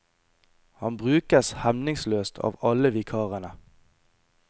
Han brukes hemningsløst av alle vikarene.